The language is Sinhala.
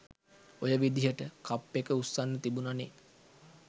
ඔය විදිහට කප් එක උස්සන්න තිබුනනෙ.